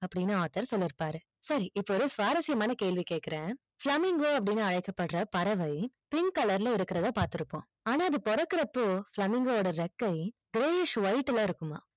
அப்படின்னு author சொல்லி இருப்பாரு சரி இப்ப ஒரு சுவாரஸ்யமான கேள்வி கேக்குற flamingo அப்படின்னு அழைக்கப்படுற பறவை pink color ல இருக்கிறது பார்த்திருப்போம் ஆனால் அது போறக்குறப்ப flamingo ஓட ரெக்கை payish white ல இருக்குமா